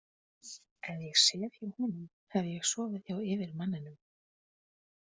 Ef ég sef hjá honum hef ég sofið hjá yfirmanninum.